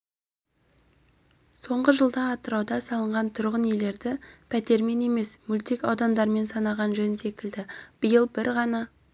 соңғы жылда атырауда салынған тұрғын үйлерді пәтермен емес мөлтек аудандармен санаған жөн секілді биыл бір ғана